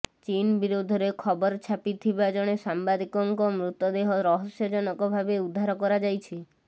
ଚୀନ ବିରୋଧରେ ଖବର ଛାପିଥିବା ଜଣେ ସାମ୍ବାଦିକଙ୍କ ମୃତଦେହ ରହସ୍ୟଜନକ ଭାବେ ଉଦ୍ଧାର କରାଯାଇଛି